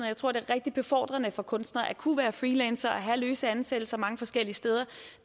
jeg tror det er rigtig befordrende for kunstnere at kunne være freelancere og have løse ansættelser mange forskellige steder og